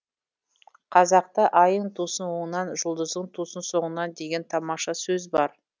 қазақта айың тусын оңынан жұлдызың тусын соңынан деген тамаша сөз бар